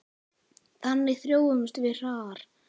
Þannig þróumst við hraðar.